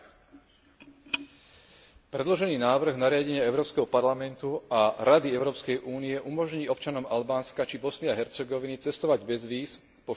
Predložený návrh nariadenie Európskeho parlamentu a Rady Európskej únie umožní občanom Albánska či Bosny a Hercegoviny cestovať bez víz po všetkých krajinách Európskej únie.